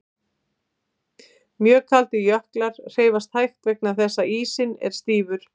Mjög kaldir jöklar hreyfast hægt vegna þess að ísinn er stífur.